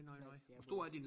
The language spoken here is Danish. Flot jamen